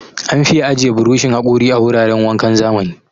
An fi ajiye burushin haƙori a wuraran wankan zamani.